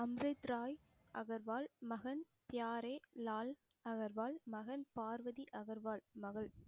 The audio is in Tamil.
அம்ரித் ராய் அகர்வால் மகன், பியாரே லால் அகர்வால் மகன், பார்வதி அகர்வால் மகள்